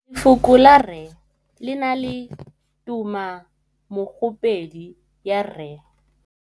Lefoko la rre le na le tumammogôpedi ya, r.